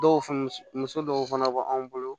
Dɔw fɛn muso dɔw fana b'an bolo